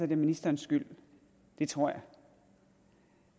det ministerens skyld det tror jeg